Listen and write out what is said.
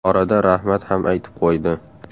Orada rahmat ham aytib qo‘ydi.